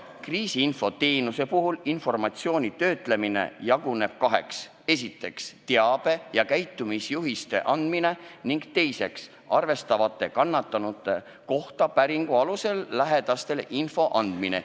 Kriisiinfo teenuse puhul informatsiooni töötlemine jaguneb kaheks: esiteks, teabe ja käitumisjuhiste andmine, ning teiseks, arvatavate kannatanute kohta päringu alusel lähedastele info andmine.